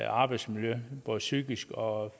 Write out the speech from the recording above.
arbejdsmiljø både psykisk og